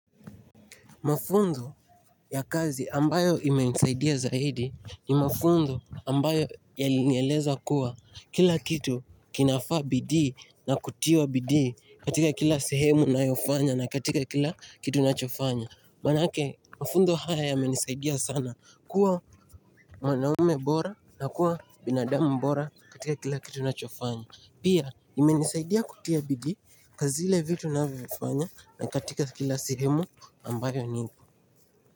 Mafunzo ya kazi ambayo imenisaidia zaidi ni mafunzo ambayo yalinieleza kuwa kila kitu kinafaa bidii na kutiwa bidii katika kila sehemu unayofanya na katika kila kitu unachofanya. Maanake mafunzo haya yamenisaidia sana kuwa mwanaume bora na kuwa binadamu bora katika kila kitu ninachofanya. Pia imenisaidia kutia bidii kwa zile vitu ninavyofanya na katika kila sehemu ambayo ni.